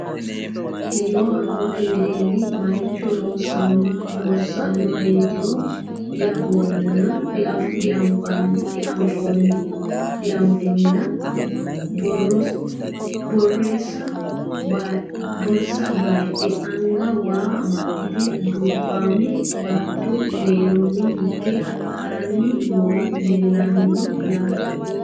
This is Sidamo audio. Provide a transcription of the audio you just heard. Kiiro haammattu wedelli maricho loosanoreettiro di anfoonni nna borissa bayiidhe anga waa amaxxitte dubbaamme baatto mereerroni hige haranni noohu leelanno yaatte